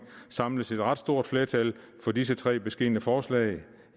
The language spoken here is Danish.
samles et ret stort flertal for disse tre beskedne forslag